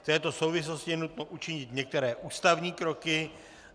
V této souvislosti je nutno učinit některé ústavní kroky.